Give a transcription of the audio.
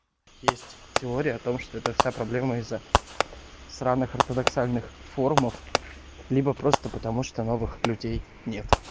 есть теория о том что это вся проблема из-за сраных ортодоксальных формах либо просто потому что новых людей нет